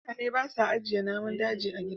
mutane ba sa ajiye namun daji a gida